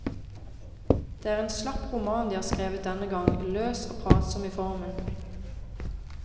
Det er en slapp roman de har skrevet denne gang, løs og pratsom i formen.